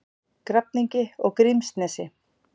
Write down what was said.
Grafningi og Grímsnesi.